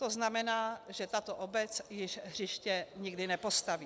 To znamená, že tato obec již hřiště nikdy nepostaví.